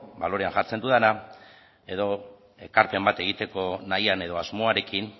balorean jartzen dudana edo ekarpen bat egiteko nahian edo asmoarekin